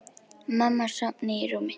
Mamma sofnuð í rúminu.